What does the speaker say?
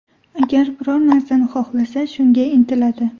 Agar biror narsani xohlasa, shunga intiladi.